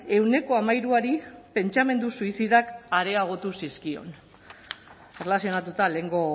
ehuneko hamairuari pentsamendu suizidak areagotu zizkion erlazionatuta lehengo